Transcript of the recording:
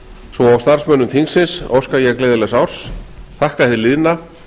svo og starfsmönnum þingsins óska ég gleðilegs árs þakka hið liðna